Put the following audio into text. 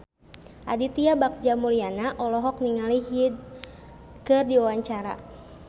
Aditya Bagja Mulyana olohok ningali Hyde keur diwawancara